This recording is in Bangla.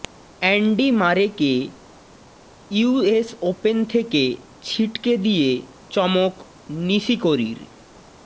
অ্যান্ডি মারেকে ইউএস ওপেন থেকে ছিটকে দিয়ে চমক নিশিকোরির